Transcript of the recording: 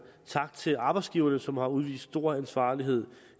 tak til arbejdsgiverne som har udvist stor ansvarlighed